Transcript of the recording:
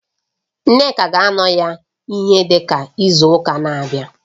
Nneka ga-anọ ya ihe dịka izu ụka na-abịa